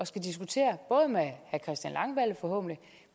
skulle diskutere både med herre christian langballe forhåbentlig